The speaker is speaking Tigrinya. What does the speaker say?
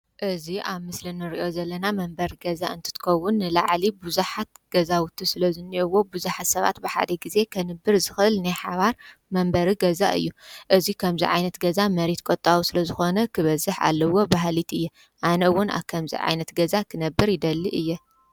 እዚ ኣብ ምስሊ እንሪኦ ዘለና መንበሪ ገዛ እንትትከውን ንላዕሊ ቡዝሓት ገዛውቲ ስለዝኒኣእውዎ ብዙሓት ሰባት ብሓደ ግዜ ከንብር ዝኽእል ናይ ሓባር መንበሪ ገዛ እዩ። እዚ ከምዚ ዓይነት ገዛ መሬት ቆጣቢ ስለዝኮነ ክበዝሕ ኣለዎ በሃሊት እየ። ኣነ እውን ኣብ ከምዚ ዓይነት ገዛ ክነብር ይደሊ እየ።